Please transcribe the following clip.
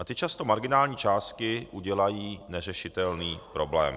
A ty často marginální částky udělají neřešitelný problém.